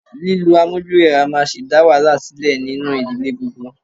Lílo amójúrẹwà máa sì dá wàhálà sílẹ̀ nínú ìdílé gbogbo.